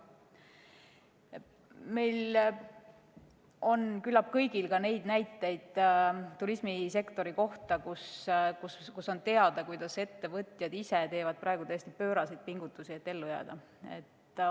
Küllap meil kõigil on teada näiteid turismisektori kohta, kuidas ettevõtjad ise teevad praegu täiesti pööraseid pingutusi, et ellu jääda.